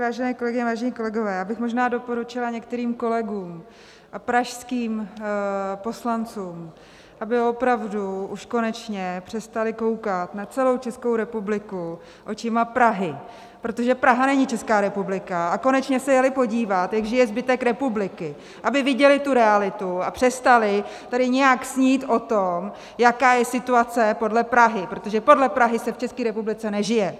Vážené kolegyně, vážení kolegové, já bych možná doporučila některým kolegům a pražským poslancům, aby opravdu už konečně přestali koukat na celou Českou republiku očima Prahy, protože Praha není Česká republika, a konečně se jeli podívat, jak žije zbytek republiky, aby viděli tu realitu a přestali tady nějak snít o tom, jaká je situace podle Prahy, protože podle Prahy se v České republice nežije.